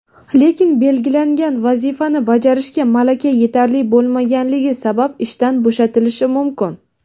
lekin belgilangan vazifani bajarishga malaka yetarli bo‘lmaganligi sabab ishdan bo‘shatilishi mumkin.